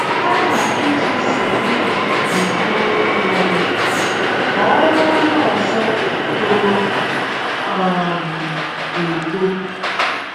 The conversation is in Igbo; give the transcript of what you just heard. Kama iji nsogbu gị bugbuo nwa gị, kọọrọ onye ọzọ toro um eto.